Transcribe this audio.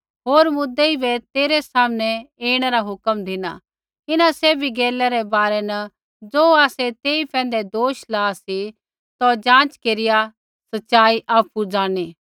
होर मुद्दई बै तेरै सामनै ऐणै रा हुक्मा धिना इन्हां सैभी गैलै रै बारै न ज़ो आसै तेई पैंधै दोष ला सी तौ जाँच केरिया सच़ाई आपु ज़ाणनी